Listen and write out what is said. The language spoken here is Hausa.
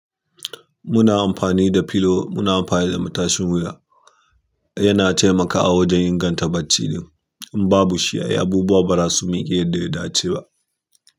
Muna amfani da filo muna amfani da matashin wuya. Yana taimakawa wajen inganta bacc. In babu shi, ai abubuwa ba za su miƙe daidai ba.